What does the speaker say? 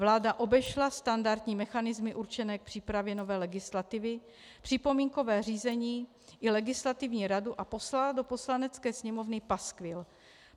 Vláda obešla standardní mechanismy určené k přípravě nové legislativy, připomínkové řízení i legislativní radu a poslala do Poslanecké sněmovny paskvil.